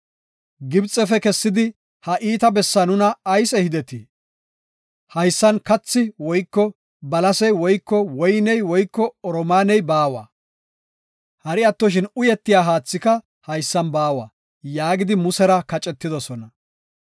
Gibxefe kessidi ha iita bessaa nuna ayis ehidetii? Haysan kathi woyko balasey woyko woyney woyko oromaaney baawa; hari attoshin uyetiya haathika haysan baawa” yaagidi Musera kacetidosona.